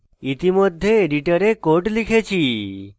ইতিমধ্যে editor code লিখেছি